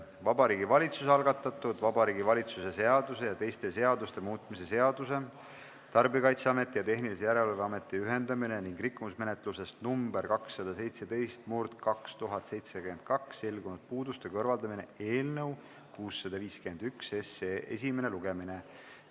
Vabariigi Valitsuse algatatud Vabariigi Valitsuse seaduse ja teiste seaduste muutmise seaduse eelnõu 651 esimene lugemine.